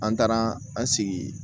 An taara an sigi yen